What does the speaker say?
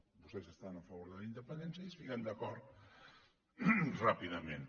vostès estan a favor de la independència i es fiquen d’acord ràpidament